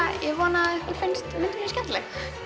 ég vona að ykkur finnist myndin mín skemmtileg